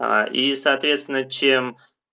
а и соответственно чем